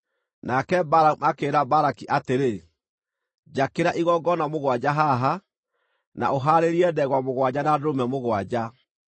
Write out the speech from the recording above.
Nake Balamu akĩĩra Balaki atĩrĩ, “Njakĩra igongona mũgwanja haha, na ũhaarĩrie ndegwa mũgwanja na ndũrũme mũgwanja.”